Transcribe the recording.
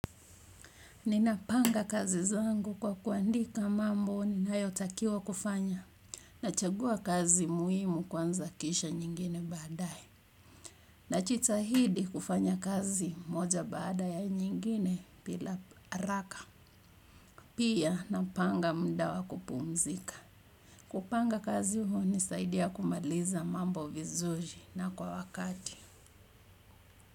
Ninapanga kazi zangu kwa kuandika mambo ninayotakiwa kufanya. Nachagua kazi muhimu kwanza kisha nyingine baadaye. Najitahidi kufanya kazi moja baada ya nyingine bila haraka. Pia napanga muda wa kupumzika. Kupanga kazi hunisaidia kumaliza mambo vizuri na kwa wakati.